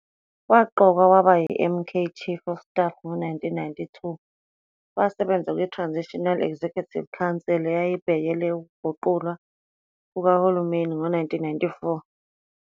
Waqokwa waba yi-MK Chief of Staff ngo-1992, wasebenza kwiTransitional Executive Council eyayibhekele ukuguqulwa kukahulumeni ngo-1994.